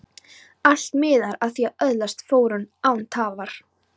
Allt miðar að því að öðlast fróun, án tafar.